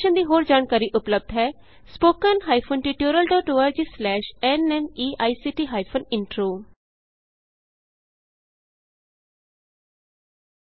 ਇਸ ਮਿਸ਼ਨ ਦੀ ਹੋਰ ਜਾਣਕਾਰੀ ਉਪਲੱਭਦ ਹੈ spoken hyphen tutorial dot org slash NMEICT hyphen intro